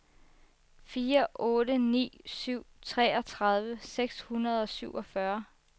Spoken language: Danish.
fire otte ni syv treogtredive seks hundrede og syvogfyrre